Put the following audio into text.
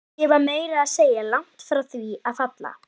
Ég var meira að segja langt frá því að falla.